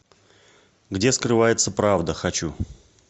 где скрывается правда хочу